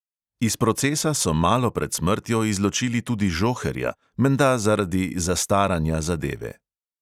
Iz procesa so malo pred smrtjo izločili tudi žoherja, menda zaradi zastaranja zadeve.